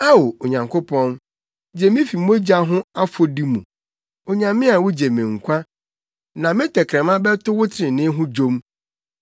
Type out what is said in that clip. Ao, Onyankopɔn, gye me fi mogya ho afɔdi mu. Onyame a wugye me nkwa, na me tɛkrɛma bɛto wo trenee ho dwom.